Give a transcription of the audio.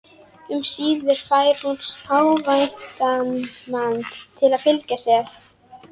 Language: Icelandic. Nýútskrifaðir stúdentar sátu svo beggja megin hins upphækkaða sviðs.